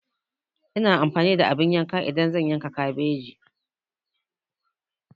Ina amfani da abin yanka idan zan yanka kabeji.